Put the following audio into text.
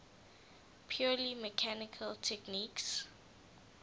purely mechanical techniques